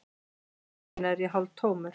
Þessa stundina er ég hálftómur.